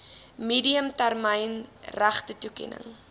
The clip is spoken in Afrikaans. medium termyn regtetoekenning